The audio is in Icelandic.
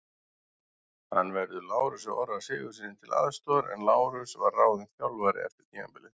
Hann verður Lárusi Orra Sigurðssyni til aðstoðar en Lárus var ráðinn þjálfari eftir tímabilið.